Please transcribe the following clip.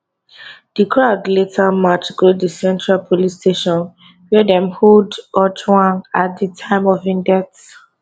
di crowd later march go di central police station wia dem hold ojwang at di time of im death